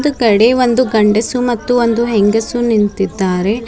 ಒಂದು ಕಡೆ ಒಂದು ಗಂಡಸು ಒಂದು ಹೆಂಗಸು ನಿಂತಿದ್ದಾರೆ.